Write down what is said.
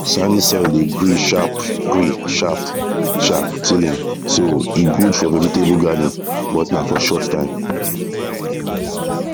sandy soil dey gree sharp gree sharp sharp tilling so e good for vegetable garden but na for short time